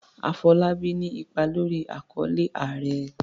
Afolábí ní ipa lórí àkọlé"Ààrẹ".